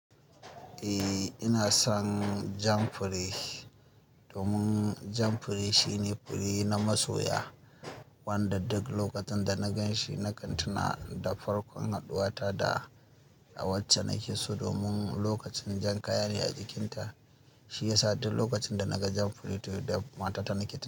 Eh, ina son jam fure domin jam fure shine fure na masoya. Wanda duk lokacin da na gan shi na kan tuna da farkon haɗuwa ta da a wacce na ki so, domin lokacin jan kaya ne a jikinta. Shi ya sa duk lokacin da na ga jam fure to da mata ta na keta.